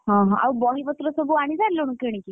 ହଁ ହଁ ଆଉ ବହି ପତର ସବୁ ଆଣି ସାରିଲୁଣି କିଣିକି?